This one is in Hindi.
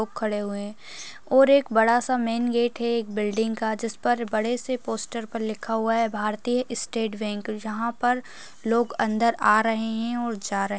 लोग खड़े हुए हैं और एक बड़ा-सा मेन गेट है एक बिल्डिंग का जिस पर बड़े से पोस्टर पर लिखा हुआ है भारतीय स्टेट बेंक| जहाँ पर लोग अन्दर आ रहे हैं और जा रहे --